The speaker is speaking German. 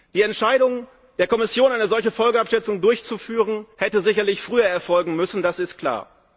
Die Entscheidung der Kommission, eine solche Folgenabschätzung durchzuführen, hätte sicherlich früher erfolgen müssen, das ist klar.